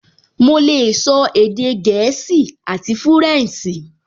Mo lè sọ èdè gẹ̀ẹ́sì àti fúrẹ̀nsì